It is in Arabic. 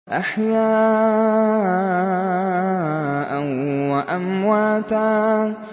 أَحْيَاءً وَأَمْوَاتًا